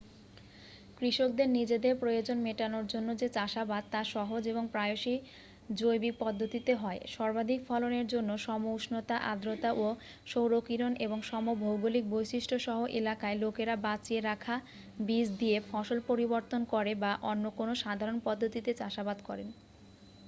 কৃষকদের নিজেদের প্রয়োজন মেটানোর জন্য যে চাষাবাদ তা সহজ এবং প্রায়সই জৈবিক পদ্ধতিতে হয় সর্বাধিক ফলনের জন্য সম উষ্ণতা আর্দ্রতা ও সৌরকিরণ এবং সম ভৌগোলিক বৈশিষ্ট্য সহ এলাকায় লোকেরা বাঁচিয়ে রাখা বীজ দিয়ে ফসল পরিবর্তন করে বা অন্য কোনও সাধারণ পদ্ধতিতে চাষাবাদ করেন